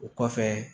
O kɔfɛ